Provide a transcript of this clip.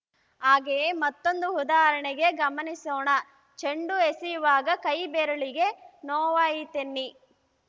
ಹಾಗೆಯೇ ಮತ್ತೊಂದು ಉದಾಹರಣೆಗೆ ಗಮನಿಸೋಣ ಚೆಂಡು ಎಸೆಯುವಾಗ ಕೈ ಬೆರಳಿಗೆ ನೋವಾಯಿತೆನ್ನಿ